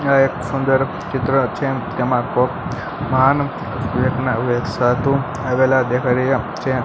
આ એક સુંદર ચિત્ર છે તેમા કોક મહાન વ્યકના આવેલા દેખાય રહ્યા છે.